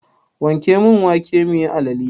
Wanke mun wake muyi alale!